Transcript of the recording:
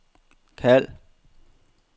kald